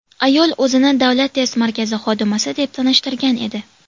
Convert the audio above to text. Ayol o‘zini Davlat test markazi xodimasi deb tanishtirgan edi.